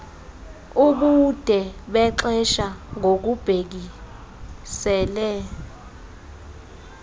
ubude bexesha ngokubhekisele